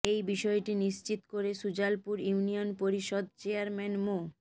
এ বিষয়টি নিশ্চিত করে সুজালপুর ইউনিয়ন পরিষদ চেয়ারম্যান মো